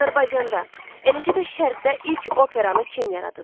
Azərbaycanda, eləcə də Şərqdə ilk operanı kim yaradıb?